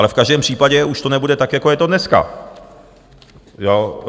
Ale v každém případě to už nebude tak, jako je to dneska.